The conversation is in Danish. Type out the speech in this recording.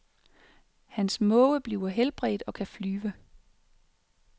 Hans måge bliver helbredt og kan flyve.